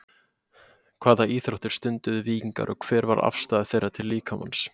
Hvaða íþróttir stunduðu víkingar og hver var afstaða þeirra til líkamans?